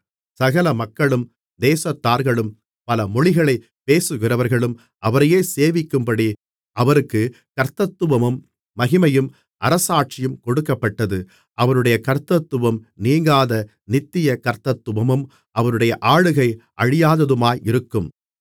சகல மக்களும் தேசத்தார்களும் பல மொழிகளைப் பேசுகிறவர்களும் அவரையே சேவிக்கும்படி அவருக்குக் கர்த்தத்துவமும் மகிமையும் அரசாட்சியும் கொடுக்கப்பட்டது அவருடைய கர்த்தத்துவம் நீங்காத நித்திய கர்த்தத்துவமும் அவருடைய ஆளுகை அழியாததுமாயிருக்கும்